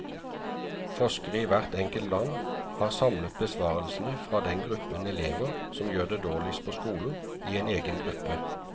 Forskere i hvert enkelt land har samlet besvarelsene fra den gruppen elever som gjør det dårligst på skolen, i en egen gruppe.